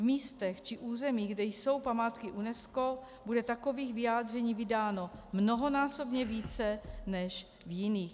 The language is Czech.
V místech či územích, kde jsou památky UNESCO, bude takových vyjádření vydáno mnohonásobně více než v jiných.